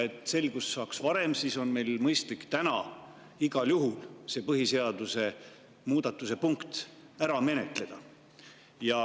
Et saaksime selguse varem, oleks meil mõistlik täna see põhiseaduse muudatuse punkt igal juhul ära menetleda.